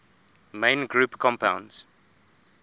main group compounds